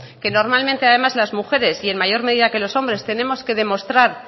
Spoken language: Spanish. que normalmente además las mujeres y en mayor medida que los hombres tenemos que demostrar